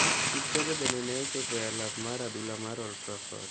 Kipchoge bende ne ochopo e alap mar adhula mar Old Trafford.